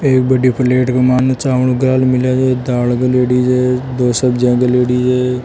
एक बड़ी प्लेट क मान चावल गाल मेलिया है दाल गालियोड़ी दी है दो सब्जीयां घलियोड़ी है।